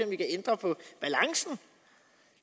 vi kan ændre på balancen